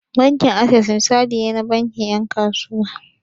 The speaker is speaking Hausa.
Bankin Access misali ne na bankin 'yan kasuwa.